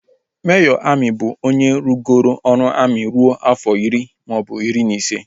Mejọr amị bụ onye rụgoro ọrụ amị ruo afọ iri maọbụ iri na ise